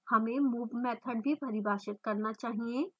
हमें move method भी परिभाषित करना चाहिए